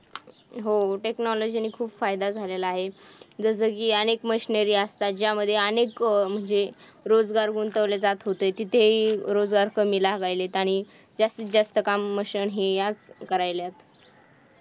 हो technology ने खूप फायदा झालेला आहे. जसं की अनेक machinery असतात ज्यामध्ये अनेक जे रोजगार गुंतवले जात होते तेथे हि रोजगार कमी लागायलेत आणि जास्तीत जास्त काम मशन याच करायलात.